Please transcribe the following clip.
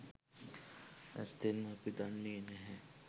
ඇත්තෙන්ම අපි දන්නේ නැහැ.